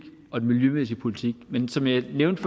og den miljømæssige politik men som jeg nævnte